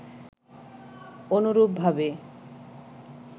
অনুরূপভাবে